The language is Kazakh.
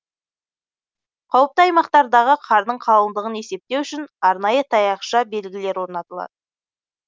қауіпті аймақтардағы қардың қалыңдығын есептеу үшін арнайы таяқша белгілер орнатылады